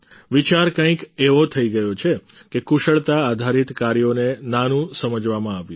વિચાર કંઈક એવો થઈ ગયો છે કે કુશળતા આધારિત કાર્યોને નાનું સમજવામાં આવ્યું